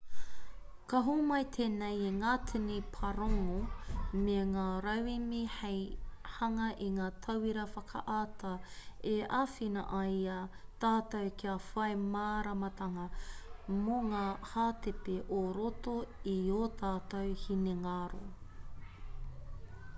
ka homai tēnei i ngā tini pārongo me ngā rauemi hei hanga i ngā tauira whakaata e āwhina ai i a tātou kia whai māramatanga mō ngā hātepe o roto i ō tātou hinengaro